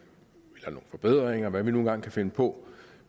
forbedringer hvad vi nu engang kan finde på